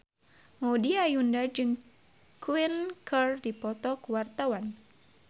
Maudy Ayunda jeung Queen keur dipoto ku wartawan